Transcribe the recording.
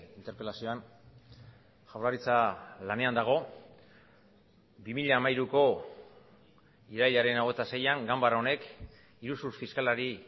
interpelazioan jaurlaritza lanean dago bi mila hamairuko irailaren hogeita seian ganbara honek iruzur fiskalari